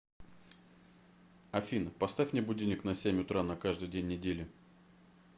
афина поставь мне будильник на семь утра на каждый день недели